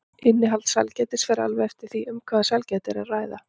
Innihald sælgætis fer alveg eftir því um hvaða sælgæti er að ræða.